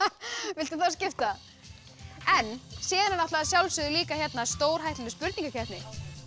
viltu fá að skipta síðan er líka hérna stórhættuleg spurningakeppni